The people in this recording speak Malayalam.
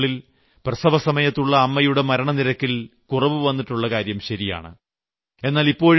കഴിഞ്ഞ 10 വർഷത്തിനുള്ളിൽ പ്രസവസമയത്തുള്ള അമ്മയുടെ മരണനിരക്കിൽ കുറവു വന്നിട്ടുള്ളകാര്യം ശരിയാണ്